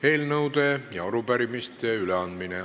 Eelnõude ja arupärimiste üleandmine.